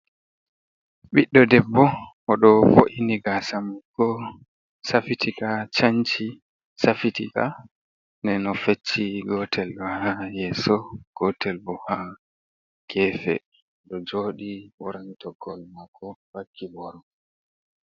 Ɓiɗɗo debbo o ɗo vo’ini gasamako safitika, chanci, safitika, ɗen o fecci gotel o ha yeso, gotel bo ha gefe, oɗo joɗi ɓorni toggowol mako vakki boro.